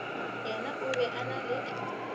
yena o be a na